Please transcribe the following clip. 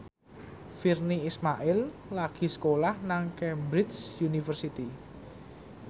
Virnie Ismail lagi sekolah nang Cambridge University